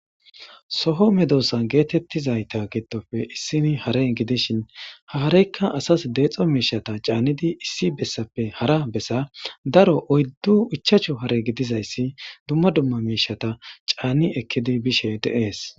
Soho medosan geetettizayta gidofe issini hare gidishin haareykka asas deexo miishata caannidi issi bessappe hara bessa daro oyddu ichachu hare gidizayssi dumma dumma miishata caanni ekkidi bishe deees.